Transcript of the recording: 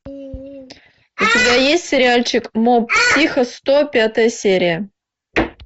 у тебя есть сериальчик моб психо сто пятая серия